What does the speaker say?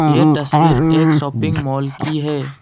ये तस्वीर एक शॉपिंग मॉल की है।